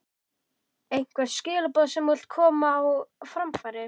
Einhver skilaboð sem þú vilt koma á framfæri?